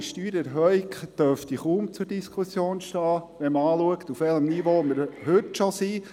Eine allgemeine Steuererhöhung dürfte kaum zur Diskussion stehen, wenn man sich anschaut, auf welchem Niveau wir uns heute bereits befinden.